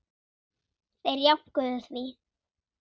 Þeir jánkuðu því.